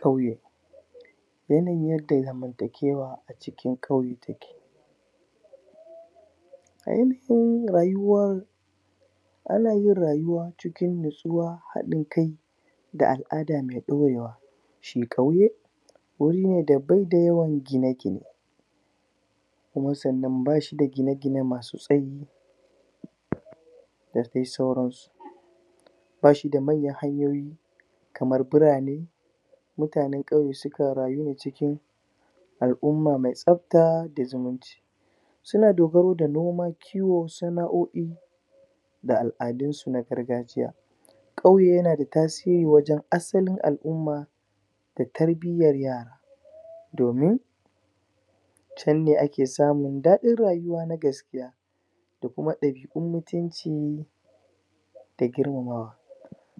ƙauye yanayin yadda zamantakewa acikin ƙauye take aikinrayuwa anayin rayuwa cikin hadin kai da al'ada mai daurewa shi ƙauye baida yawan gine gine kuma sannan bashi ga gine gine masu tsayi da dai sauransu bashida manyan hanyoyi kamar birane mutanen ƙauye sukan rayu ne cikin al'umma mai tsafta da zumunci suna dogaro da noma kiwo sana'o'i da al'adun su na gargajiya kauye yana da tasiri wajen asalin al'umma da tarbiyan yara domin can ne ake samun dadin rayuwa na gaskiya da kuma dabi'un mutunci da girma mawa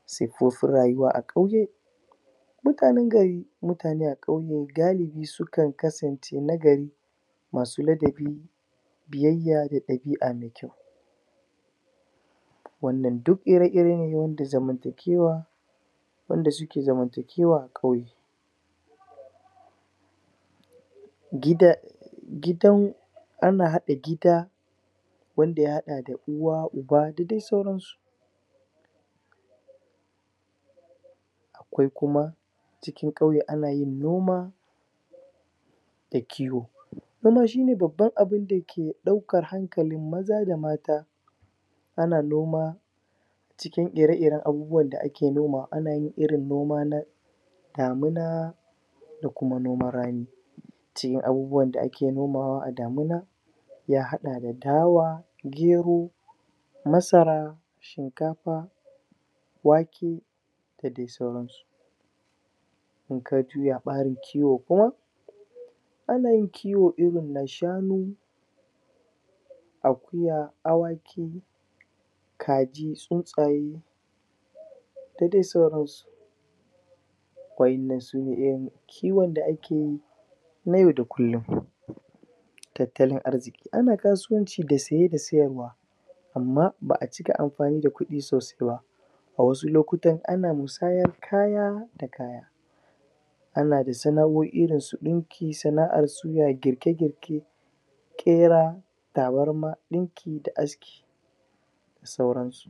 siffofin rayuwa a kauye mutanen gari mutane a ƙauye galibi sukan kasance nagari masu ladabi biyayya da dabi'a mai kyau wannan duk ire-iren da zamantakewa wanda suke zamantakewa a kauye gidan gidan ana hada gida wanda ya hada uwa uba da dai sauransu akwai kuma cikin ƙauye ana yin noma da kiwo wannan shine babban abun da daukar hankalin maza da mata ana noma cikin ire-iren abun da ake noma ana yin irin noma na damuna da kuma na rani shin abubuwan da ake nomawa a damuna ya hada da dawa da gero masara shinkafa wake da dai sauran su in ka juya barin kiwo kuma ana yin kiwo irin na shanu akuya awaki kaji tsuntsaye da dai sauransu wa'innan sune irin kiwon da akeyi na yau da kullum tattalin arziki ana kasuwanci da saye da sayarwa amma ba'a cika amfani da kudi sosai ba a wani lokutan ana musayar kaya da kaya ana da sana'o'i kamar su dinki da girke girke kera tabarma dinki da aski da sauransu